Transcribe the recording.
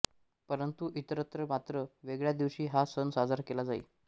परंतु इतरत्र मात्र वेगळ्या दिवशी हा सण साजरा केला जाई